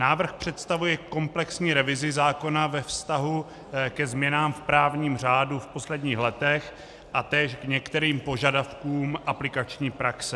Návrh představuje komplexní revizi zákona ve vztahu ke změnám v právním řádu v posledních letech a též k některým požadavkům aplikační praxe.